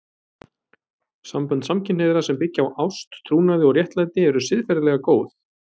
Sambönd samkynhneigðra sem byggja á ást, trúnaði og réttlæti eru siðferðilega góð.